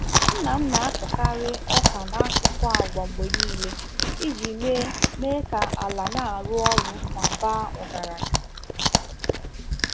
Nna m na-akọkarị ọka n'akụkụ agwa mgbe niile iji mee mee ka ala na-arụ ọrụ ma baa ọgaranya